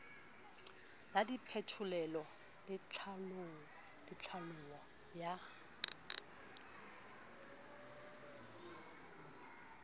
la diphetolelo le tlhaolo ya